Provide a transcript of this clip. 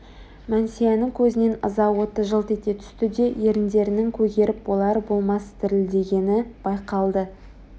мәнсияның көзінен ыза оты жылт ете түсті де еріндерінің көгеріп болар-болмас дірілдегені байқалды